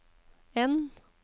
N